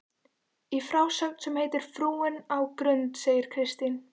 Í frásögn sem heitir Frúin á Grund segir Kristín